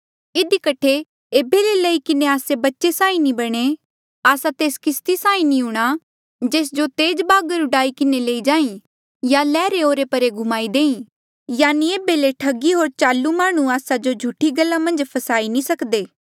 इधी कठे ऐबे ले लेई किन्हें आस्से बच्चे साहीं नी बणे आस्सा तेस किस्ती साहीं नी हूंणा जेस जो तेज बागर डूआई किन्हें लेई जाहीं या ल्हरें ओरेपरे घुमाई देईं यानि ऐबे ले ठगी होर चालू माह्णुं आस्सा जो झूठी गल्ला मन्झ नी फसाई सकदे